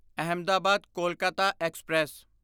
Ahmedabad Kolkata express